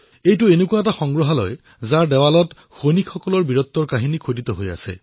ইয়াত এনেকুৱা এক গেলেৰী আছে যত দেৱালত সৈনিকসকলৰ বীৰত্বৰ কাহিনী খোদিত কৰা হৈছে